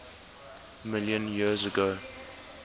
million years ago